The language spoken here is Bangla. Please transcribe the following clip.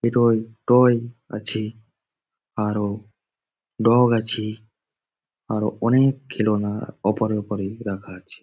টয় টয় আছে আরো ডগ আছে আরো অনেক খেলোনা ওপরে ওপরে রাখা আছে।